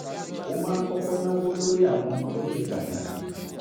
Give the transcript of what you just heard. ó máa ń kọ́kọ́ náwó lórí àwọn ohun tó ṣe pàtàkì